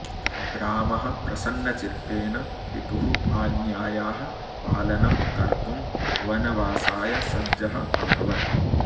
रामः प्रसन्नचित्तेन पितुः आज्ञायाः पालनं कर्तुं वनवासाय सज्जः अभवत्